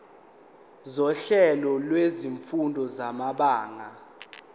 sohlelo lwezifundo samabanga